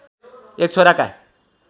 एक छोराका